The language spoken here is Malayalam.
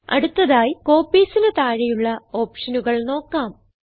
അടുത്തതായി Copiesന് താഴെയുള്ള ഓപ്ഷനുകൾ നോക്കാം